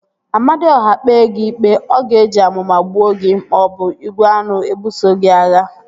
Amadiọha kpee gị ikpe, ọ ga-eji amụma gbuo gị maọbụ igwe aṅụ ebuso gị agha